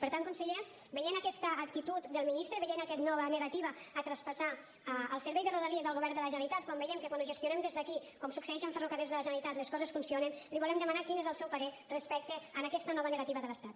per tant conseller veient aquesta actitud del ministre veient aquesta nova negativa a traspassar el servei de rodalies al govern de la generalitat quan veiem que quan ho gestionem des d’aquí com succeeix amb ferrocarrils de la generalitat les coses funcionen li volem demanar quin és el seu parer respecte a aquesta nova negativa de l’estat